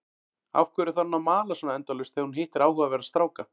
Af hverju þarf hún að mala svona endalaust þegar hún hittir áhugaverða stráka?